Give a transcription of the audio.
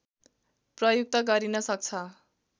प्रयुक्त गरिन सक्छ